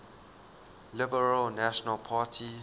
liberal national party